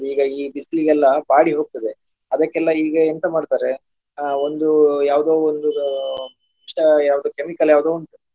ಈಗ ಈ ಬಿಸಿಲಿಗೆಲ್ಲಾ ಬಾಡಿ ಹೋಗ್ತದೆ ಅದಕ್ಕೆಲ್ಲ ಈಗ ಎಂತ ಮಾಡ್ತಾರೆ ಅಹ್ ಒಂದು ಯಾವ್ದೋ ಒಂದು ಯಾವ್ದೋ chemical ಯಾವ್ದೋ ಉಂಟು.